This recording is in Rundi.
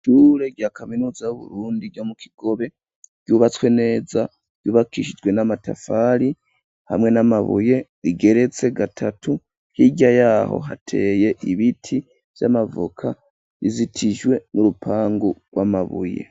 Ishure rya kaminuza y'Uburundi ryo mu Kigobe ,ryubatswe neza, ryubakishijwe n'amatafari hamwe n'amabuye, igeretse gatatu ,hirya yaho hateye ibiti vy'amavoka ,rizitijwe n'urupangu rw'amabuye.